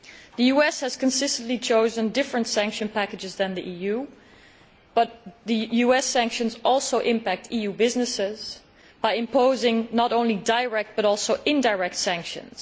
The US has consistently chosen different sanctions packages to the EU, but the US sanctions also impact EU businesses by imposing not only direct but also indirect sanctions.